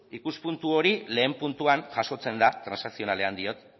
ikuspuntu hori lehen puntuan jasotzen da transakzionalean diot